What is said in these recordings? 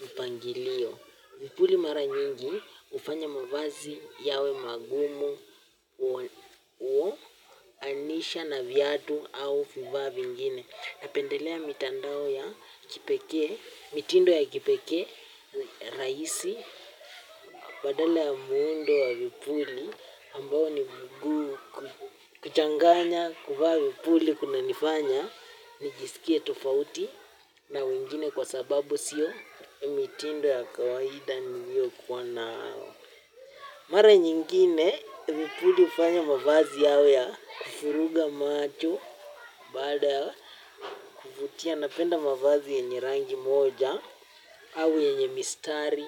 mpangilio. Vipuli mara nyingi ufanya mavazi yawe magumu, uoanisha na vyadu au fivaa vingine. Napendelea mitandao ya kipeke, mitindo ya kipeke, raisi, badala ya muundo wa vipuli ambao ni kuchanganya kuvaa vipuli kuna nifanya. Nijisikie tofauti na wengine kwa sababu sio mitindo ya kawahida niyo kwa nao. Mara nyingine, vipuli ufanya mavazi yawe ya kufuruga macho, bada, vutia napenda mavazi yenye rangi moja, au yenye mistari,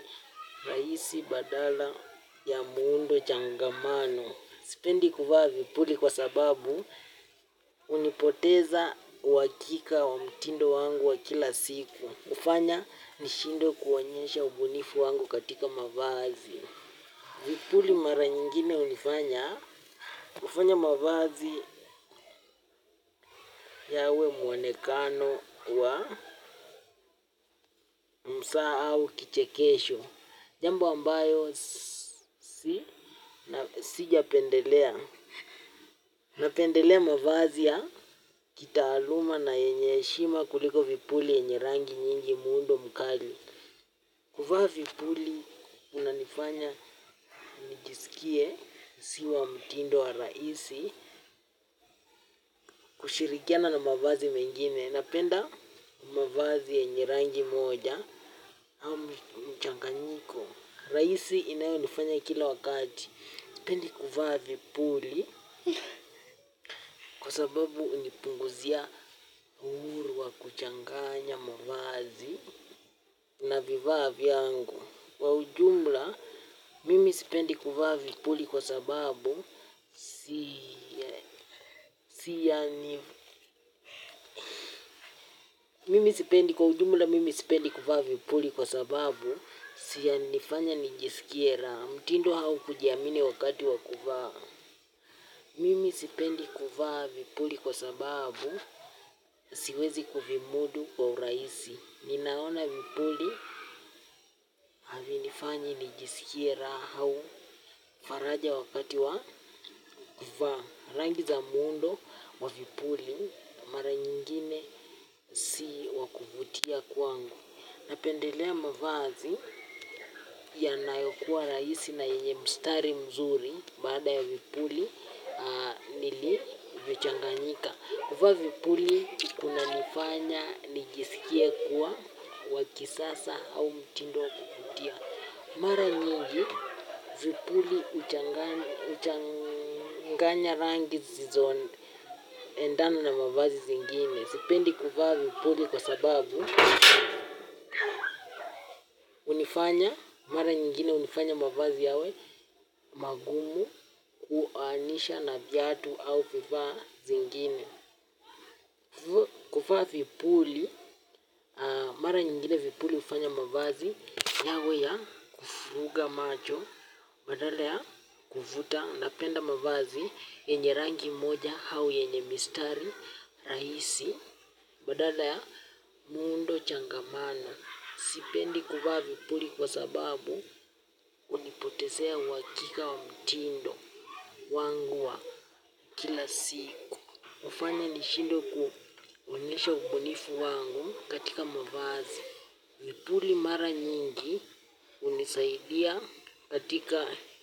rahisi, badala, ya muundo, changamano. Sipendi kuvaa vipuli kwa sababu hunipoteza uhakika wa mtindo wangu wa kila siku hufanya nishindwe kuonyesha ubunifu wangu katika mavazi. Vipuli mara nyingine hunifanya hufanya mavazi yawe mwonekano wa mzaha au kichekesho. Jambo ambayo sijapendelea. Napendelea mavazi ya kitaaluma na yenye heshima kuliko vipuli yenye rangi nyingi muundo mkali. Kuvaa vipuli kunanifanya nijisikie sio wa mtindo wa rahisi kushirikiana na mavazi mengine. Napenda mavazi yenye rangi moja. Rahisi inayonifanya kila wakati sipendi kuvaa vipuli. Kwa sababu hunipunguzia uhuru wa kuchanganya mavazi na vifaa yangu. Kwa ujumla mimi sipendi kuvaa vipuli kwa sababu kwa ujumla mimi sipendi kuvaa vipuli kwa sababu sia unifanye nijisikie raha. Mutindo au kujiamini wakati wa kuvaa. Mimi sipendi kuvaa vipuli kwa sababu siwezi kuvimudu kwa urahisi. Ninaona vipuli havinifanyi nijisikie raha au faraja wakati wa kuvaa rangi za muundo wa vipuli mara nyingine si wa kuvutia kwangu. Napendelea mavazi yanayokuwa rahisi na yenye mstari mzuri baada ya vipuli nilivichanganyika kuvaa vipuli kunanifanya nijisikie kuwa wa kisasa au mtindo wa kuvutia. Mara nyingi vipuli huchanganya rangi zisizo endana na mavazi zingine. Sipendi kuvaa vipuli kwa sababu hunifanya mara nyingine hunifanya mavazi yawe magumu kuanisha na viatu au vifaa zingine. Kuvaa vipuli, mara nyingine vipuli hufanya mavazi yawe ya kuvuruga macho. Badala ya kuvuta napenda mavazi yenye rangi moja au yenye mistari rahisi. Badala ya muundo changamano. Sipendi kuvaa vipuli kwa sababu unipotezea uhakika wa mtindo wangu wa. Kila siku hufanya nishindwe kuonyesha ubunifu wangu katika mavazi. Vipuli mara nyingi hunisaidia katika.